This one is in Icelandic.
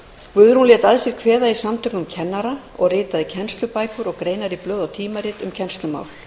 guðrún lét að sér kveða í samtökum kennara og ritaði kennslubækur og greinar í blöð og tímarit um kennslumál